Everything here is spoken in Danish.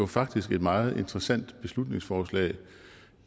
faktisk et meget interessant beslutningsforslag